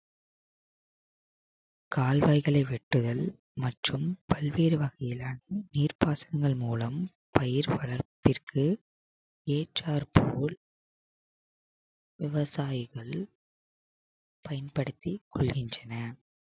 கால்வாய்களை வெட்டுதல் மற்றும் பல்வேறு வகையிலான நீர் பாசனம் மூலம் பயிர் வளர்ப்பிற்கு ஏற்றார் போல் விவசாயிகள் பயன்படுத்தி கொள்கின்றன